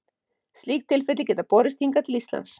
Slík tilfelli geta borist hingað til Íslands.